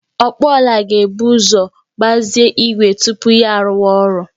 Ọkpụ ọla ga-ebu uzo gbazee igwe tupu ya arụwa ọrụ